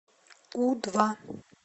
у два